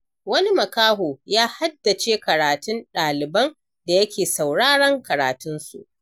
Wani makaho ya haddace karatun ɗaliban da yake sauraren karatunsu.